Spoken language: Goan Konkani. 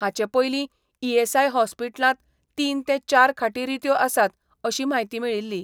हाचें पयली ईएसआय हॉस्पिटलांत तीन ते चार खाटी रित्यो आसात अशी म्हायती मेळिल्ली.